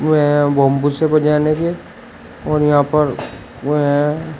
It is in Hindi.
बैंबू से बजाने के और यहां पर